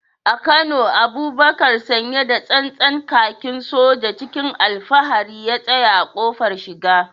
A Kano, Abubakar sanye da tsantsan kakin soja, cikin alfahari ya tsaya a kofar shiga.